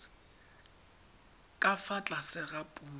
ka fa tlase ga puso